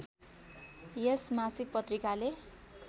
यस मासिक पत्रिकाले